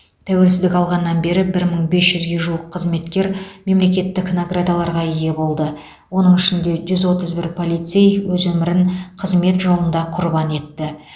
тәуелсіздік алғаннан бері бір мың бес жүзге жуық қызметкер мемлекеттік наградаларға ие болды оның ішінде жүз отыз бір полицей өз өмірін қызмет жолында құрбан етті